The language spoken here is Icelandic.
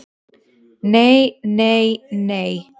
"""Nei, nei, nei!"""